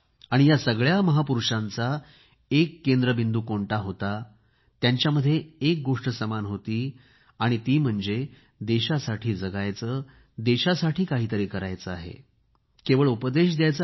या सगळ्या महापुरूषांचा एक केंद्रबिंदू कोणता होता त्यां च्याळमध्येा एक गोष्ट समान होती आणि ती म्हणजे देशासाठी जगायचे देशासाठी काहीतरी करायचे आहे केवळ उपदेश द्यायचा नाही